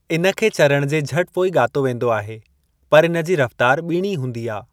इन खे चरण जे झटि पोइ ॻातो वेंदो आहे, पर इन जी रफ्तार ॿीणी हूंदी आ।